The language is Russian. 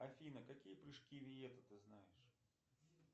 афина какие прыжки виета ты знаешь